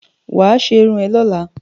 Wà á ṣe irun ẹ lọ́la!